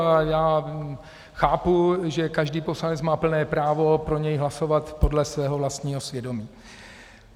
A já chápu, že každý poslanec má plné právo pro něj hlasovat podle svého vlastního svědomí.